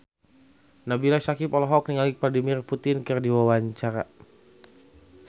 Nabila Syakieb olohok ningali Vladimir Putin keur diwawancara